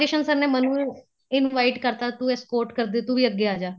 Kishan sir ਨੇ ਮੈਨੂੰ invite ਕਰਤਾ ਤੂੰ escort ਕਰਦੀ ਏ ਤੂੰ ਵੀ ਅੱਗੇ ਆਜਾ